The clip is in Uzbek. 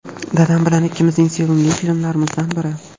Dadam bilan ikkimizning sevimli filmlarimizdan biri.